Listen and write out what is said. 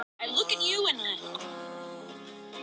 Rannsókn málsins haldi þó áfram.